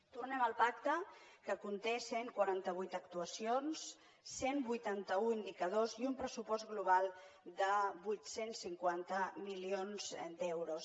tornem al pacte que conté cent i quaranta vuit actuacions cent i vuitanta un indicadors i un pressupost global de vuit cents i cinquanta milions d’euros